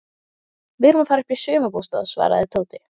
Við erum að fara upp í sumarbústað svaraði Tóti.